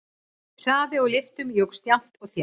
Hraði á lyftum jókst jafnt og þétt.